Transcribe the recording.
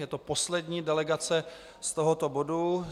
Je to poslední delegace z tohoto bodu.